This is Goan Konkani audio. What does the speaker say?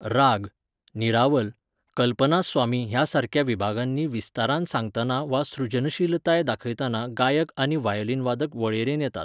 राग, निरावल, कल्पनास्वामी ह्या सारक्या विभागांनी विस्तारान सांगतना वा सृजनशीलताय दाखयतना गायक आनी व्हायोलीनवादक वळेरेन येतात.